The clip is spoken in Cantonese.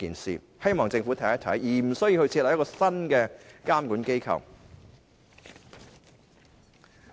我希望政府探討一下，而無須設立一個新的監管機構。